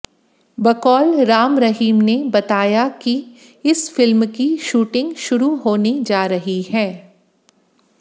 बकौल राम रहीम ने बताया कि इस फिल्म की शूटिंग शुरु होने जा रही है